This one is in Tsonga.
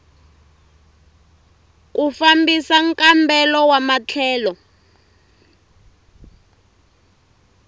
ku fambisa nkambelo wa matlhelo